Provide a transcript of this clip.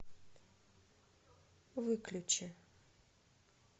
выключи